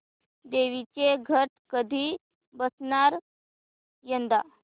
देवींचे घट कधी बसणार यंदा